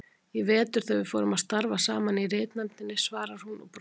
Í vetur þegar við fórum að starfa saman í ritnefndinni, svarar hún og brosir.